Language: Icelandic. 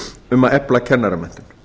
um að efla kennaramenntun